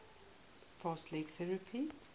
fast leg theory